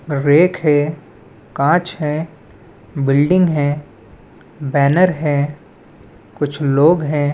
Rack है कांच है बिल्डिंग है बैनर है कुछ लोग है।